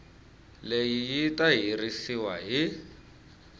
leyi yi ta herisiwa hi